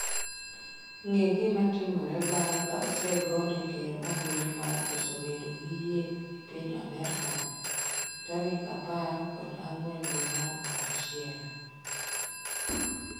ng'e gima timore bang' ka osegone ker ombulu mar koso bedo gi yie e piny Amerka ? Tarik apar kod ang'wen dwe mar achiel